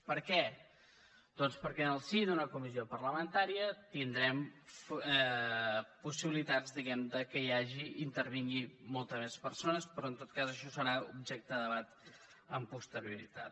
per què doncs perquè en el si d’una comissió parlamentària tindrem possibilitats diguem que hi hagi i intervinguin moltes més persones però en tot cas això serà objecte de debat amb posterioritat